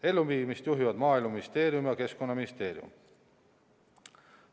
Elluviimist juhivad Maaeluministeerium ja Keskkonnaministeerium.